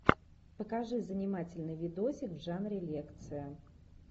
покажи занимательный видосик в жанре лекция